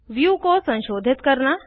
view को संशोधित करना